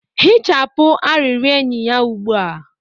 hichapụ arịrịọ enyi ya ugbu a!